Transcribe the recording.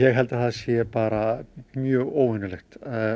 held að það sé bara mjög óvenjulegt